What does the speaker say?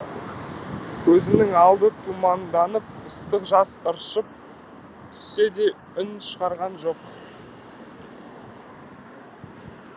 көзінің алды тұманданып ыстық жас ыршып түссе де үн шығарған жоқ